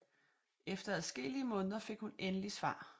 Efter adskillige måneder fik hun endelig svar